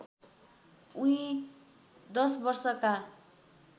उनी १० वर्षका